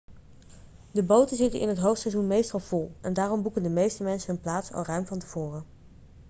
de boten zitten in het hoogseizoen meestal vol en daarom boeken de meeste mensen hun plaats al ruim van tevoren